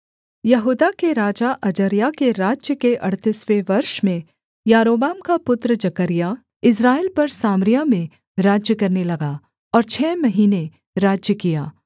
यहूदा के राजा अजर्याह के राज्य के अड़तीसवें वर्ष में यारोबाम का पुत्र जकर्याह इस्राएल पर सामरिया में राज्य करने लगा और छः महीने राज्य किया